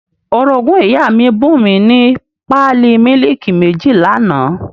Orogún ìyá mi bùn mi ní pálí mílìkì méjì l'àná